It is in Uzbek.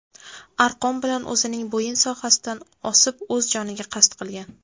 arqon bilan o‘zining bo‘yin sohasidan osib o‘z joniga qasd qilgan.